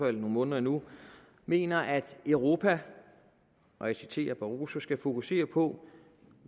i nogle måneder endnu mener at europa og jeg citerer barroso skal fokusere på